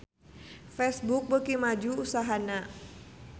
Facebook beuki maju usahana